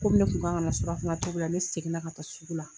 Ko ne kun kan ka na surafana tobi la, ne seginna ka taa sugu la.